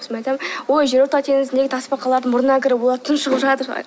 сосын мен айтамын ой жерорта теңізіндегі тасбақалардың мұрнына кіріп олар тұншығып жатыр